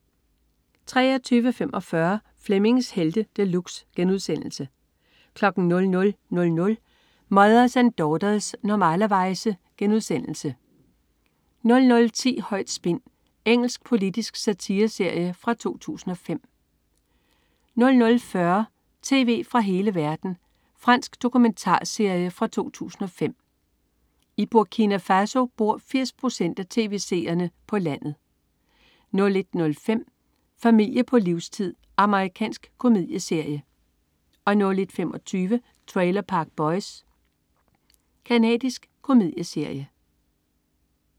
23.45 Flemmings Helte De Luxe* 00.00 Mothers and Daughters. Normalerweize* 00.10 Højt spin. Engelsk politisk satireserie fra 2005 00.40 Tv fra hele verden. Fransk dokumentarserie fra 2005. I Burkina Faso bor 80 procent af tv-seerne på landet 01.05 Familie på livstid. Amerikansk komedieserie 01.25 Trailer Park Boys. Canadisk komedieserie